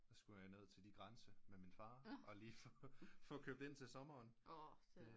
Der skulle jeg ned til de grænse med min far og lige få købt ind til sommeren